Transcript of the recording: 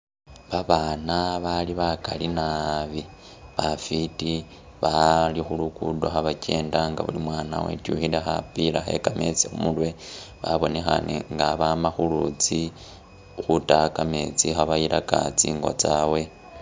Abaana bali bakali naabi bafiti bali khu'luguddo khabakyenda nga buli mwana wetukhile khapila khe'kametsi khumurwe babonekhane nga bama khwama khulutsi khutaya kametsi khabayilaka tsingo tsabwe